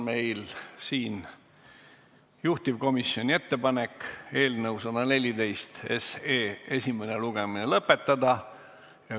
Meil on siin juhtivkomisjoni ettepanek eelnõu 114 esimene lugemine lõpetada.